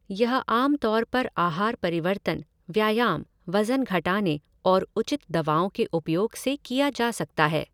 यह आम तौर पर आहार परिवर्तन, व्यायाम, वजन घटाने और उचित दवाओं के उपयोग से किया जा सकता है।